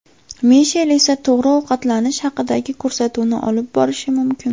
Mishel esa to‘g‘ri ovqatlanish haqidagi ko‘rsatuvni olib borishi mumkin.